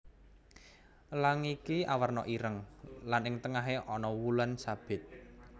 Elang iki awerna ireng lan ing tengahé ana wulan sabit